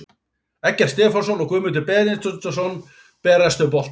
Eggert Stefánsson og Guðmundur Benediktsson berjast um boltann.